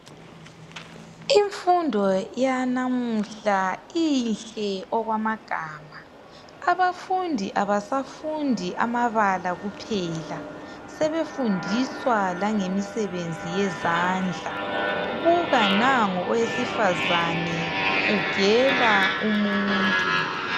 Imfundo yanamuhla inhle okwamagama abafundi abasafundi amabala kuphela sebefundiswa langemisebenzi yezandla buka nangu owesifazana ugela umuntu.